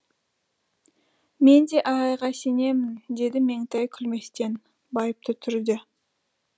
мен де ағайға сенемін деді меңтай күлместен байыпты түрде